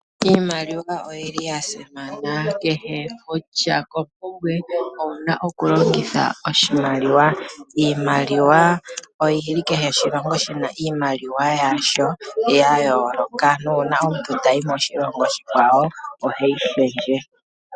Iimaliwa oyi li yasimana, kehe kutya kompumbwe owu na okulongitha oshimaliwa. Iimaliwa oyi li kehe oshilongo oshina iimaliwa yasho, ya yooloka nuuna omuntu ta yi moshilongo oshikwawo ohe yi shendje.